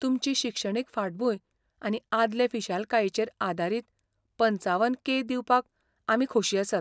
तुमची शिक्षणीक फाटभूंय आनी आदले फिशालकायेचेर आदारीत पंचावन के दिवपाक आमी खोशी आसात.